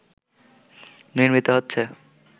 নির্মিত হচ্ছে